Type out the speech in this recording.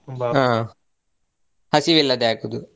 ಹಸಿವಿಲ್ಲದೆ ಆಗುದು.